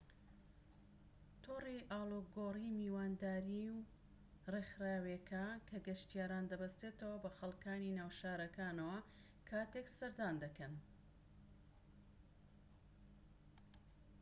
تۆڕی ئاڵۆگۆڕی میوانداری ڕێکخراوێکە کە گەشتیاران دەبەستێتەوە بە خەڵكانی ناو شارەکانەوە کاتێك سەردان دەکەن